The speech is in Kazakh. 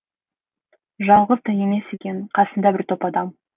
жалғыз да емес екен қасында бір топ адам